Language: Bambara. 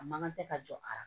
A man kan tɛ ka jɔ a la